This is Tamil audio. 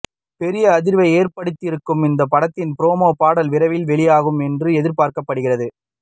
பெரிய அதிர்வை ஏற்படுத்தவிருக்கும் இந்த படத்தின் ப்ரமோ பாடல் விரைவில் வெளியாகும் என்று எதிர்பார்க்கப்படுகிறது